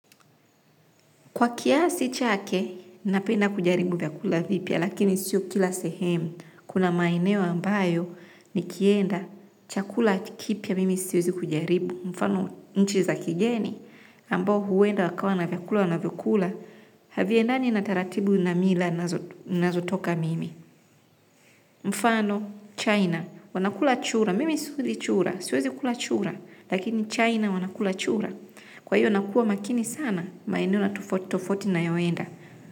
Kwa kiasi chake, napenda kujaribu vyakula vipya, lakini sio kila sehemu. Kuna maeneo ambayo nikienda, chakula kipya mimi siwezi kujaribu. Mfano, nchi za kigeni, ambao huenda wakawa na vyakula wanavyokula, haviendani na taratibu na mila ninazotoka mimi. Mfano, China, wanakula chura, mimi siwezi chura, siezi kula chura, lakini China wanakula chura. Kwa hiyo nakuqa makini sana, maeneo na tofauti tofauti nayoenda.